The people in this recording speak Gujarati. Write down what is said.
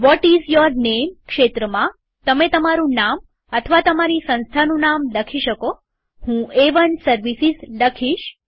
વોટ ઈઝ યોર નેમ ક્ષેત્રમાંતમે તમારું નામ અથવા તમારી સંસ્થાનું નામ લખી શકોહું એ1 સર્વિસીઝ લખીશ